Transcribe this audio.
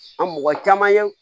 An mɔgɔ caman ye